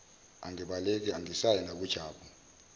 angibaleki angisayi nakujabu